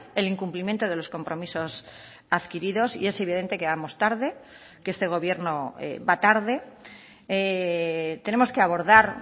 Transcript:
el incumplimiento de los compromisos adquiridos y es evidente que vamos tarde que este gobierno va tarde tenemos que abordar